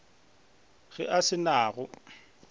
ge a se na go